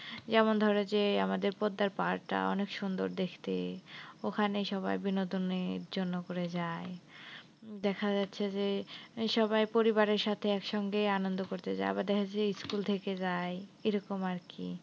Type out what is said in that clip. যেমন ধরো যে আমাদের পোদ্দার পাহাড় টা অনেক সুন্দর দেখতে, ওখানে সবাই বিনোদনের জন্য করে যায়। দেখা যাচ্ছে যে সবাই পরিবারের সাথে একসঙ্গে আনন্দ করতে যায়। আবার দেখা যাচ্ছে যে school থেকে যায় এরকম আরকি।